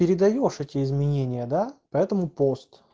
передаёшь эти изменения да по этому пост